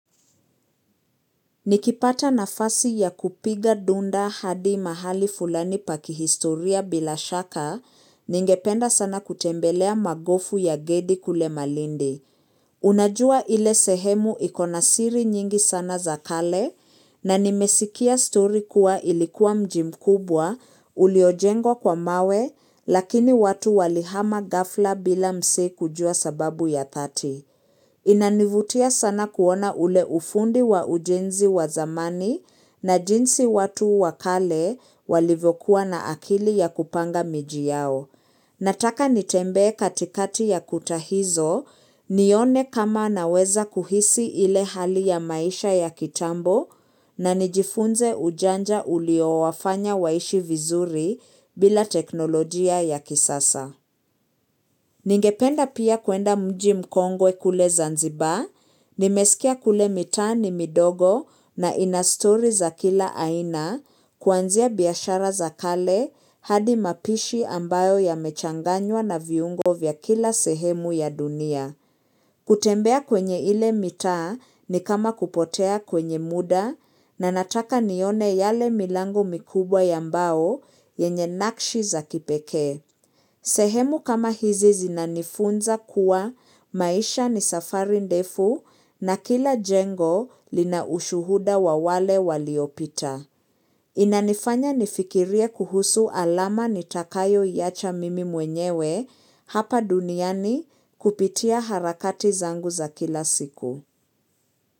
Nikipata nafasi ya kupiga dunda hadi mahali fulani pa kihistoria bila shaka, ningependa sana kutembelea magofu ya gedi kule malindi. Unajua ile sehemu iko na siri nyingi sana za kale, na nimesikia story kuwa ilikuwa mji mkubwa, uliojengwa kwa mawe, lakini watu walihama ghafla bila msee kujua sababu ya dhati. Inanivutia sana kuona ule ufundi wa ujenzi wa zamani na jinsi watu wa kale walivyokuwa na akili ya kupanga miji yao. Nataka nitembee katikati ya kuta hizo nione kama naweza kuhisi ile hali ya maisha ya kitambo na nijifunze ujanja ulio wafanya waishi vizuri bila teknolojia ya kisasa. Ningependa pia kwenda mji mkongwe kule Zanzibar, nimesikia kule mitaa ni midogo na ina stori za kila aina, kuanzia biashara za kale, hadi mapishi ambayo yamechanganywa na viungo vya kila sehemu ya dunia. Kutembea kwenye ile mitaa ni kama kupotea kwenye muda, na nataka nione yale milango mikubwa ya mbao yenye nakshi za kipekee. Sehemu kama hizi zinanifunza kuwa maisha ni safari ndefu na kila jengo lina ushuhuda wa wale waliopita. Inanifanya nifikirie kuhusu alama nitakayoiacha mimi mwenyewe, hapa duniani kupitia harakati zangu za kila siku.